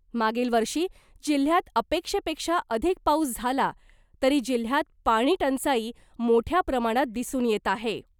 मागील वर्षी जिल्ह्यात अपेक्षेपेक्षा अधिक पाऊस झाला तरी जिल्ह्यात पाणीटंचाई मोठया प्रमाणात दिसून येत आहे .